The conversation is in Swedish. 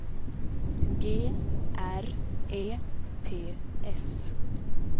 G R E P S